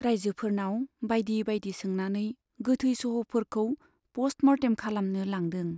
राइजोफोरनाव बाइदि बाइदि सोंनानै गोथै सह'फोरखौ पष्ट मर्टेम खालामनो लांदों।